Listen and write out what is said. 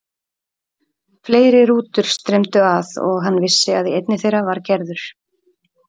Fleiri rútur streymdu að og hann vissi að í einni þeirra var Gerður.